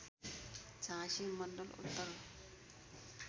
झाँसी मण्डल उत्तर